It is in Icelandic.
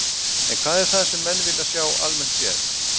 En hvað er það sem að menn vilja sjá almennt séð?